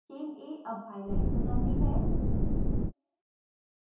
chain a अब highlight हो जाती है